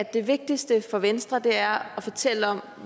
det vigtigste for venstre er at fortælle om